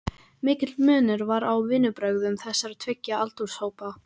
Mikill munur var á vinnubrögðum þessara tveggja aldurshópa.